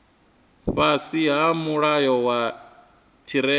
fhasi ha mulayo wa tshirema